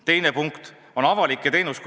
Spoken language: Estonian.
Teine punkt on avalikud teenused.